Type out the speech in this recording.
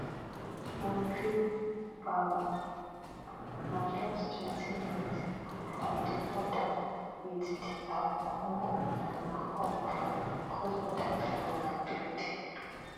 bujumbura na justtwentyminutes from di border wit dr congo and na hub for crossborder travel and trade